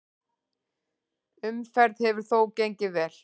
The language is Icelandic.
Umferð hefur þó gengið vel.